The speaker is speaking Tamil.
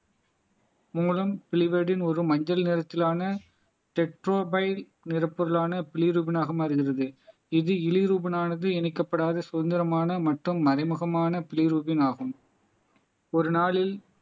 மூலம் ஒரு மஞ்சள் நிறத்திலான நிரப்பொருளானாக மாறுகிறது இது இழிரூபனானது இணைக்கப்படாத சுதந்திரமான மற்றும் மறைமுகமான ஆகும் ஒரு நாளில்